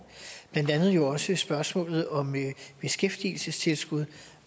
blandt andet jo også spørgsmålet om beskæftigelsestilskud